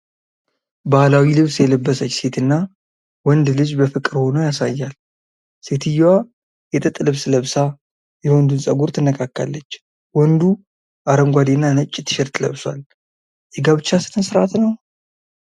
ባህላዊ ልብስ የለበሰች ሴትና ወንድ ልጅ በፍቅር ሆነው ያሳያል። ሴትየዋ የጥጥ ልብስ ለብሳ የወንዱን ፀጉር ትነካካለች። ወንዱ አረንጓዴና ነጭ ቲሸርት ለብሷል። የጋብቻ ሥነ ሥርዓት ነው?